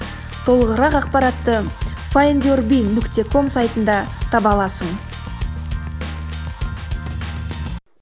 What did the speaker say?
толығырақ ақпаратты файндюрби нүкте ком сайтында таба аласың